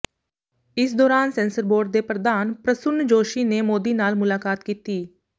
ਇਸ ਦੌਰਾਨ censor board ਦੇ ਪ੍ਰਧਾਨ ਪ੍ਰਸੁੰਨ ਜੋਸ਼ੀ ਨੇ ਮੋਦੀ ਨਾਲ ਮੁਲਾਕਾਤ ਕੀਤੀ